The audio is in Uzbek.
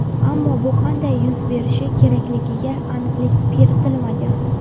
Ammo bu qanday yuz berishi kerakligiga aniqlik kiritilmagan.